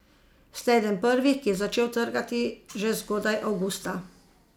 Ste eden prvih, ki je začel trgati že zgodaj avgusta.